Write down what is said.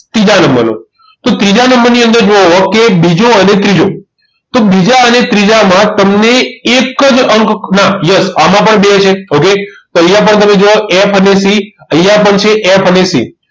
ત્રીજા નંબરનો તો ત્રીજા નંબરની અંદર જોવો કે બીજો અને ત્રીજો તો બીજા અને ત્રીજા માં તમને એક જ અંક ના yes આમાં પણ બે છે okay તો અહીંયા પણ તમે જુઓ F અને C અહીંયા પણ છે F અને C